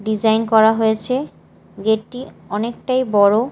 Design করা হয়েছে gate -টি অনেকটাই বড়।